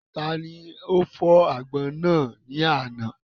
Taani ó fọ̀ àgbọn náà ní àná?